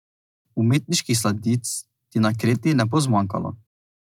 Umetniških sladic ti na Kreti ne bo zmanjkalo.